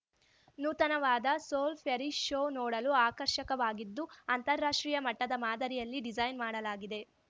ನೂತನವಾದ ಸೋಲ್‌ ಫ್ಯರಿ ಶೂ ನೋಡಲು ಆಕರ್ಷಕವಾಗಿದ್ದು ಅಂತಾರಾಷ್ಟ್ರೀಯ ಮಟ್ಟದ ಮಾದರಿಯಲ್ಲಿ ಡಿಸೈನ್‌ ಮಾಡಲಾಗಿದೆ